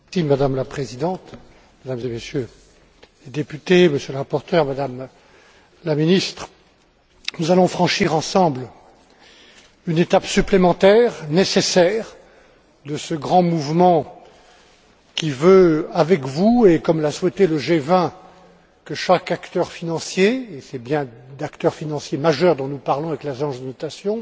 Madame la Présidente, Mesdames et Messieurs les députés, Monsieur le rapporteur, Madame la Ministre, nous allons franchir ensemble une étape supplémentaire, nécessaire, de ce grand mouvement qui veut, avec vous, et comme l'a souhaité le G20, que chaque acteur financier et c'est bien d'acteurs financiers majeurs dont nous parlons avec l'agence de notation